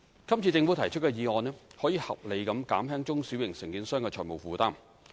今次政府提出的議案可以合理地減輕中小型承建商的財務負擔。